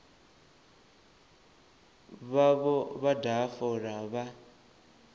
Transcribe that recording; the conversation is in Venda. vhavho vha daha fola vha